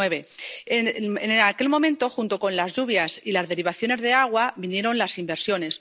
2009. En aquel momento, junto con las lluvias y las derivaciones de agua, vinieron las inversiones.